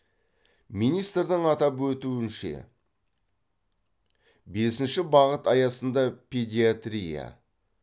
министрдің атап өтінше бесінші бағыт аясында педиатрия